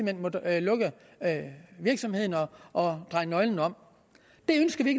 hen måtte lukke virksomheden og dreje nøglen om det ønsker vi